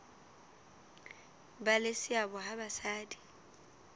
ba le seabo ha basadi